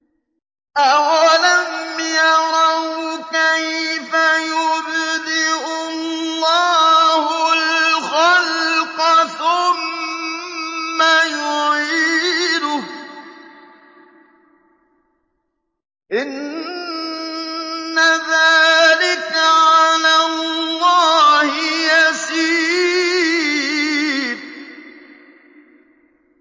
أَوَلَمْ يَرَوْا كَيْفَ يُبْدِئُ اللَّهُ الْخَلْقَ ثُمَّ يُعِيدُهُ ۚ إِنَّ ذَٰلِكَ عَلَى اللَّهِ يَسِيرٌ